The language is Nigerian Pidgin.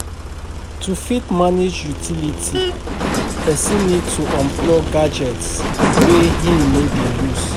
To fit manage utility person need to unplug gadgets wey im no dey use